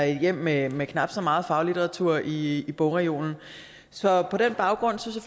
hjem med med knap så meget faglitteratur i bogreolen så på den baggrund synes